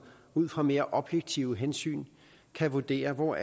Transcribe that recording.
ud fra mere objektive hensyn kan vurdere hvor